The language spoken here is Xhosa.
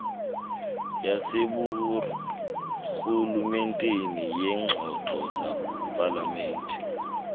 yaseburhulumenteni yeengxoxo zepalamente